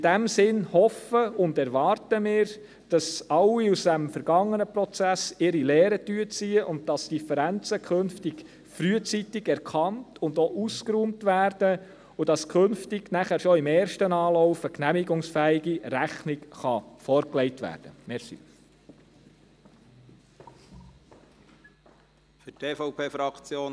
In diesem Sinne hoffen und erwarten wir, dass alle aus diesem vergangenen Prozess ihre Lehren ziehen, dass Differenzen künftig frühzeitig erkannt und auch ausgeräumt werden und dass künftig schon im ersten Anlauf eine genehmigungsfähige Rechnung vorgelegt werden kann.